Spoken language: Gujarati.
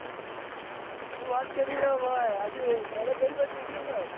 શું વાત કરી રહ્યો ભાઈ આજે દહાડો કઈ બાજુ ઊગ્યો ભાઈ.